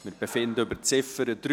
Wir befinden über die Ziffer 3.